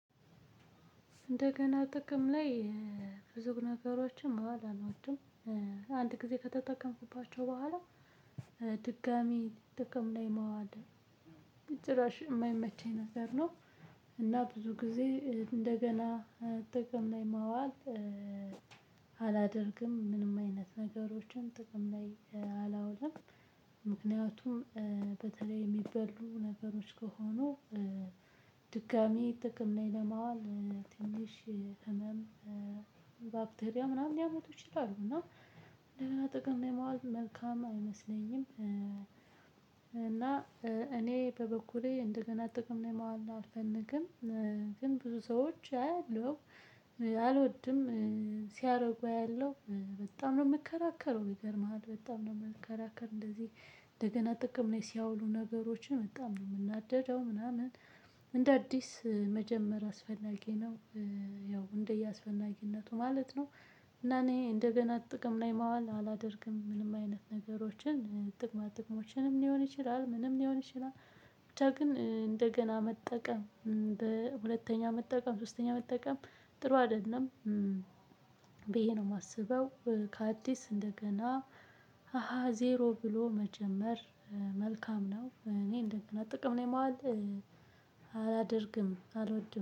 እንደገና ጥቅም ላይ ብዙ ነገሮችን ማዋል አልወድም አንድ ጊዜ ከተጠቀምኩባቸው በኋላ ድጋሚ ጥቅም ላይ ማዋል ጭራሽ የማይመቸኝ ነገር ነው። እና ብዙ ጊዜ እንደገና ጥቅም ላይ ማዋል። አላደርግም ምንም አይነት ነገሮችን ጥቅም ላይ አላውልም። ምክንያቱም በተለይ የሚበሉ ነገሮች ከሆኑ ድጋሚ ጥቅም ላይ ለማዋል ትንሽ ህመም ባክቴሪያ ምናምን ሊያመጡ ይችላሉ። እና እንደገና ጥቅም ማዋል መልካም አይመስለኝም። እና እኔ በበኩሌ እንደገና ጥቅም ነው ማዋል አልፈልግም። ግን ብዙ ሰዎች አያለሁ አልወድም ሲያደርጉ አያለው በጣም ነው የምከራከረው ይገርምሃል በጣም ነው የምከራከር። እንደዚህ እንደገና ጥቅም ላይ ሲያውሉ ነገሮችን በጣም ነው የምናደደው ምናምን እንደ አዲስ መጀመር አስፈላጊ ነው። ያው እንደየአስፈላጊነቱ ማለት ነው። እና እኔ እንደገና ጥቅም ላይ ማዋል አላደርግም ምንም አይነት ነገሮችን ጥቅማ ጥቅሞችንም ሊሆን ይችላል ምንም ሊሆን ይችላል። ብቻ ግን እንደገና መጠቀም በሁለተኛ መጠቀም ሶስተኛ መጠቀም ጥሩ አይደለም ብዬ ነው የማስበው። ከአዲስ እንደገና አሃ ዜሮ ብሎ መጀመር መልካም ነው። እኔ እንደገና ጥቅም ላይ ማዋል አላደርግም አልወድም